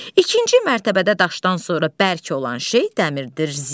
İkinci mərtəbədə daşdan sonra bərk olan şey dəmirdir.